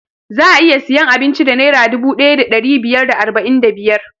Za'a iya siyan abinci da naira dubu ɗaya da ɗari biyar da arba'in da biyar